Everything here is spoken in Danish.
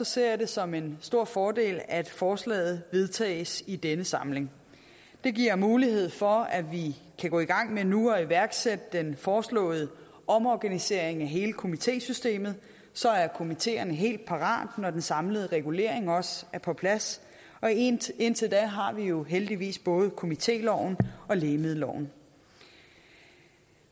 ser jeg det som en stor fordel at forslaget vedtages i denne samling det giver mulighed for at vi kan gå i gang med nu at iværksætte den foreslåede omorganisering af hele komitésystemet så er komiteerne helt parate når den samlede regulering også er på plads og indtil indtil da har vi jo heldigvis både komitéloven og lægemiddelloven